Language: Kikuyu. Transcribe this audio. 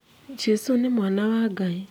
Jesũ nĩ mwana wa Ngai